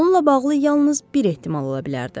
Onunla bağlı yalnız bir ehtimal ola bilərdi.